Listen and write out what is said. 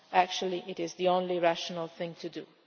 is not. Actually, it is the only rational thing